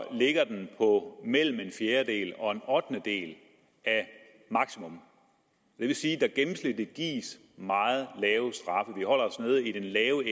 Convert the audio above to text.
ligger den på mellem en fjerdedel og en ottendedel af maksimum det vil sige at der gennemsnitligt gives meget lave